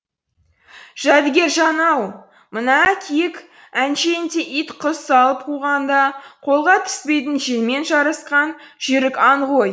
жәдігержан ау мына киік әншейінде ит құс салып қуғанда қолға түспейтін желмен жарысқан жүйрік аң ғой